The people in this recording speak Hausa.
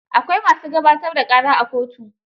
Akwai ma su gabatar da ƙara a kotu.